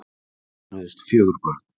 Þau eignuðust fjögur börn